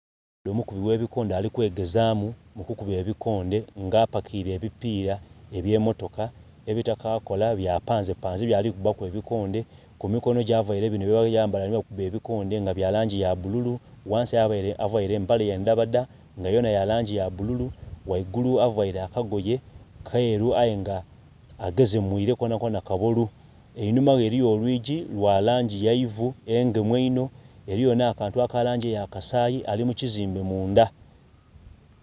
Omukubbi oghebikoonde alikwegezamu mukukubba ebikoonde nga apakire ebipira ebyemotoka ebitakakola byapanze panze byalikubaku ebikonde. Kumikonogye avaire bino byebayambala nebakuba ebikonde nga byalangyi yabululu ghansi abere aveire empale ndhabadha nga yona yalangyi yabululu ghagulu aveire akagoye keru aye nga agezemwiire konakona kabolu enhumawe eriyo olwiiji lwalangyi yaivu engemu inho eriyo nakantu akalangi eyakasayi alimukyizimbe mundha